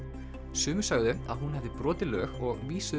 sumir sögðu að hún hefði brotið lög og vísuðu